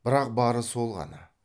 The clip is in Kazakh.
бірақ бары сол ғана